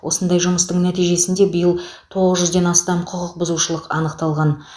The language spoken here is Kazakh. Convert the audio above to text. осындай жұмыстың нәтижесінде биыл тоғыз жүзден астам құқық бұзушылық анықталған